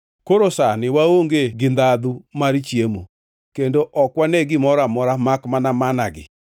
Koro sani waonge gi ndhandhu mar chiemo; kendo ok wane gimoro amora makmana manna-gi!”